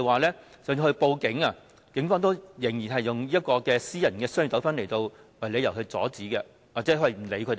即使他們報警求助，警方仍然以私人商業糾紛為由阻止他們或不受理。